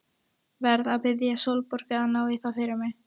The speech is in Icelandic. Verð að biðja Sólborgu að ná í það fyrir mig.